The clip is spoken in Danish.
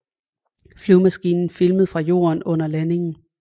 Flyvemaskinen filmet fra jorden under landingen